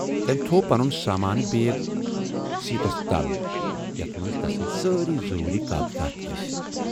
تمٔۍ تھوو پنُن سامانہٕ بیگ سیٖٹس تل یَتھ منز تسٕندۍ سٲری ضروٗری کاغذات ٲسۍ۔